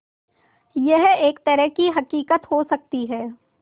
यह एक तरह की हक़ीक़त हो सकती है